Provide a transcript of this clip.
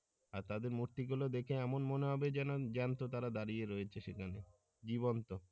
আর তাদের মূর্তি গুল দেখে এমন মনে হবে যেন জ্যান্ত তারা দাঁড়িয়ে রয়েছে সেখানে জীবন্ত।